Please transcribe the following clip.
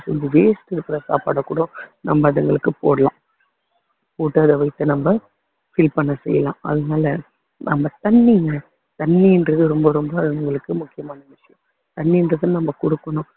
செஞ்ச waste ஆ இருக்கிற சாப்பாட கூட நம்ம அதுங்களுக்கு போடலாம் போட்டு அது வயித்த நம்ம fill பண்ண செய்யலாம் அதனால நம்ம தண்ணியும் தண்ணின்றது ரொம்ப ரொம்ப அதுங்களுக்கு முக்கியமான விஷயம் தண்ணின்றது நம்ம குடுக்கணும்